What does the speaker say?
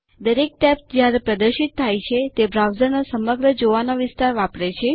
દરેક ટેબ જ્યારે પ્રદર્શિત થાય છે તે બ્રાઉઝરનો સમગ્ર જોવાનો વિસ્તાર વાપરે છે